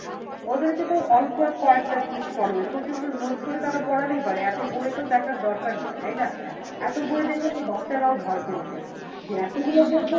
ওদেরকে তো অল্প কয়েকটা জিনিস পড়াবে, so সেগুলো note করে তারা পড়ালেই পারে এত বই তো দেখার দরকার নেই তাইনা? এত বই দেখে তো বাচ্চারাও ভয় পেয়ে যায় যে এত গুলো বই